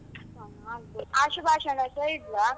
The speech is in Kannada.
ಹಾ ಹಾಗೆ, ಆಶುಭಾಷಣಸ ಇಡ್ಲಾ?